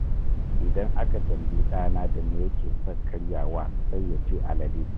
Idan aka tambayi ɗana da me yake son karyawa sai ya ce alele